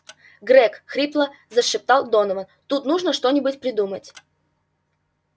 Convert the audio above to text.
грег хрипло зашептал донован тут нужно что-нибудь придумать